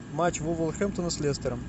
матч вулверхэмптона с лестером